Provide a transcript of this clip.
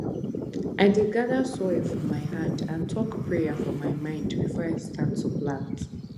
i dey gather soil for my hand and talk prayer for my mind before i start to plant